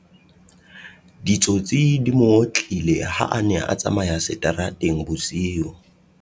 ditsotsi di mo otlile ha a ne a tsamaya seterateng bosiu